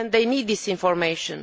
They need this information.